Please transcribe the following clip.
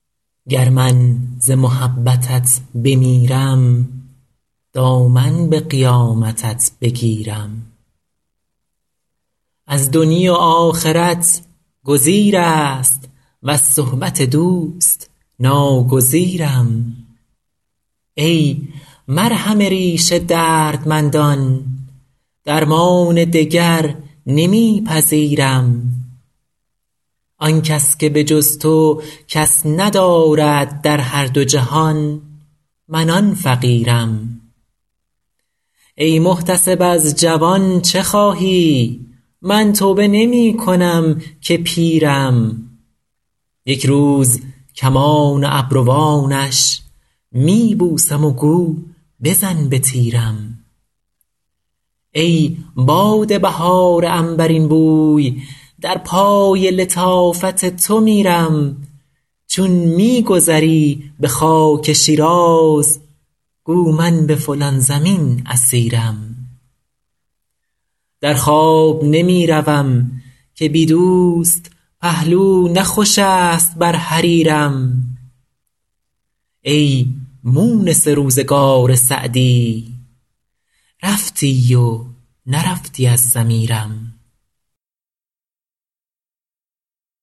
گر من ز محبتت بمیرم دامن به قیامتت بگیرم از دنیی و آخرت گزیر است وز صحبت دوست ناگزیرم ای مرهم ریش دردمندان درمان دگر نمی پذیرم آن کس که به جز تو کس ندارد در هر دو جهان من آن فقیرم ای محتسب از جوان چه خواهی من توبه نمی کنم که پیرم یک روز کمان ابروانش می بوسم و گو بزن به تیرم ای باد بهار عنبرین بوی در پای لطافت تو میرم چون می گذری به خاک شیراز گو من به فلان زمین اسیرم در خواب نمی روم که بی دوست پهلو نه خوش است بر حریرم ای مونس روزگار سعدی رفتی و نرفتی از ضمیرم